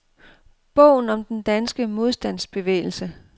Bogen om den danske modstandsbevægelse.